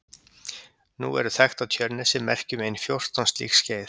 nú eru þekkt á tjörnesi merki um ein fjórtán slík skeið